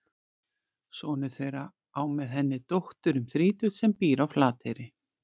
Sonur þeirra á með henni dóttur um þrítugt sem býr á Flateyri.